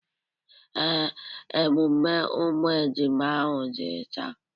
Ee, emume umu ejima ahụ dị taa.